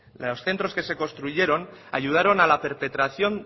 de los centros que se construyeron ayudaron a la perpetración